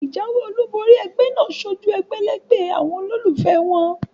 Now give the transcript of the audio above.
Ìjáwé olúbori egbé náà sojú egbèlégbè àwon olólùfé won